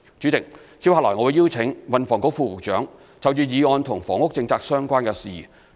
主席，接下來，我會邀請運房局副局長就議案與房屋政策相關的事宜作出回應。